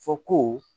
Fɔ ko